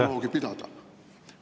… dialoogi pidada.